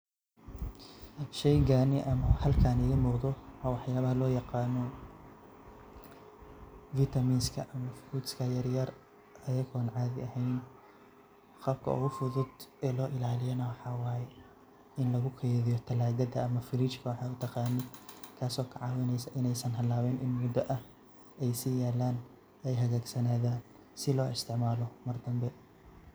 Sheygani ama bahalkani mowduc waa waxyabaha loo yaqano fitaminska ama frutska yaryar ayako caadi eheyn qabka ogu fudud oo loo ilaaliyo na waxa waye ini lugu keydiyo talagada ama fridge[cs[waxad utaqanid taaso ka caawineysa in muda ah ay si yaalan ay hagag sanaadan si loo isticmaalo Mar dambe